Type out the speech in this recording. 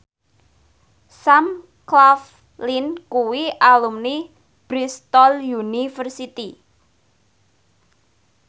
Sam Claflin kuwi alumni Bristol university